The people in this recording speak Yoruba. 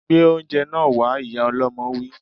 Gbé óúnjẹ náà wá! Ìyá ọlọmọ wí